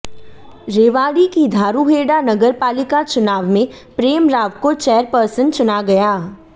रेवाड़ी की धारूहेड़ा नगरपालिका चुनाव मे प्रेम राव को चेयरपर्सन चुना गया